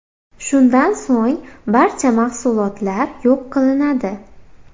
Shundan so‘ng barcha mahsulotlar yo‘q qilinadi.